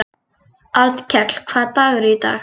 Arnkell, hvaða dagur er í dag?